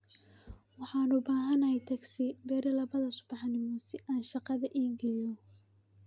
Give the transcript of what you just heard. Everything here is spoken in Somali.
Waxaan u baahanahay taksi berri labada subaxnimo si aan shaqada ii geeyo